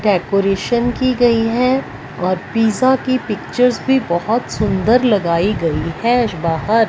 decoration की गई है और पिज़्ज़ा की पिक्चर्स भी बहोत सुंदर लगाई गई है आज बाहर--